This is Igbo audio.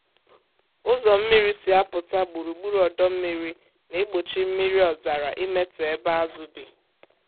ụzọ mmiri si apụta gburugburu ọdọ mmiri na-egbochi mmiri ọzara imetọ ebe azụ bi.